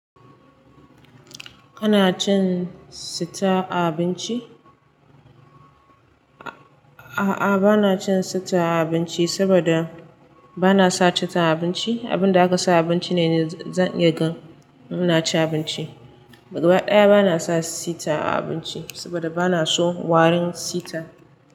Kana cin sita a abinci? A'a, bana cin sita a abinci saboda bana sace ta a abinci. Abin da aka sa a abinci ne zan iya gan mu na ci abinci. Ba ɗaya bana sa sita a abinci saboda bana so warin sita.